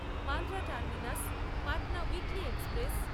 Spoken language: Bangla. Bandra terminus Patna weekly express